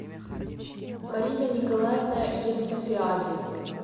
марина николаевна евстафиади